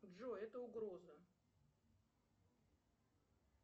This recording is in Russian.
джой это угроза